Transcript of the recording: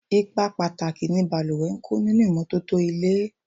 Ipa pàtàkì ni balùwẹ̀ ń kó nínú ìmọ́tótó ilé.